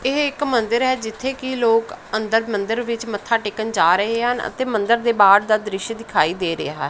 ਇਹ ਇੱਕ ਮੰਦਰ ਹੈ ਜਿੱਥੇ ਕਿ ਲੋਕ ਅੰਦਰ ਮੰਦਰ ਵਿੱਚ ਮੱਥਾ ਟੇਕਣ ਜਾ ਰਹੇ ਹਨ ਅਤੇ ਮੰਦਰ ਦੇ ਬਾਹਰ ਦਾ ਦ੍ਰਿਸ਼ ਦਿਖਾਈ ਦੇ ਰਿਹਾ।